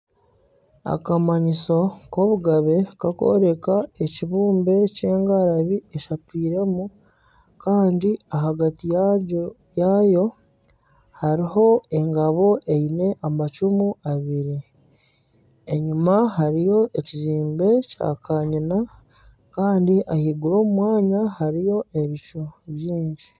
Akamanyiso k'obugabe kakworeka ekibumbe ky'engarabi eshatwiremu kandi ahagati yaayo hariho engabo eine amacumu abiri enyuma hariyo ekizimbe kya kanyina kandi ahaiguru omu mwanya hariyo ebicu bingi.